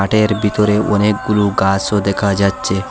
মাঠের ভিতরে অনেকগুলো গাছও দেখা যাচ্ছে।